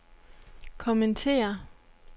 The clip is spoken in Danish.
kommentere